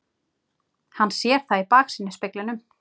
Hann sér það í baksýnisspeglinum.